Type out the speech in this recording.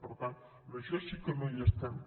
per tant en això sí que no hi estem